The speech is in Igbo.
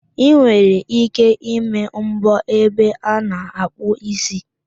Ị nwere ike ịme mbọ ebe a na-akpụ ísí